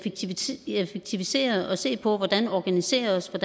effektivisere og se på hvordan man organiserer sig